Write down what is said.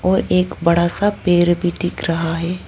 और एक बड़ा सा पेर भी दिख रहा है।